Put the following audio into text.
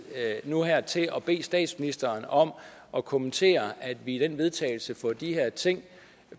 nu og her til at bede statsministeren om at kommentere at vi i det vedtagelse får de her ting